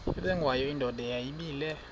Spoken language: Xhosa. ubengwayo indoda yayibile